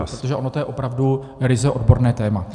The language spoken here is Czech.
Protože ono je to opravdu ryze odborné téma.